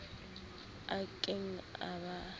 a ke keng a ba